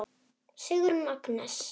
Sigrún Agnes.